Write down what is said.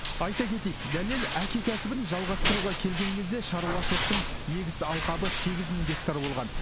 айта кетейік дәлел әке кәсібін жалғастыруға келген кезде шаруашылықтың егіс алқабы сегіз мың гектар болған